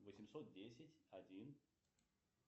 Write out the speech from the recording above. восемьсот десять один